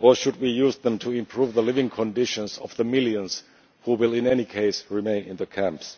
or should we use them to improve the living conditions of the millions who will, in any case, remain in the camps?